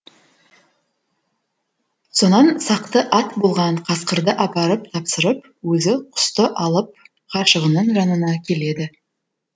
сонан сақты ат болған қасқырды апарып тапсырып өзі құсты алып ғашығының жанына келеді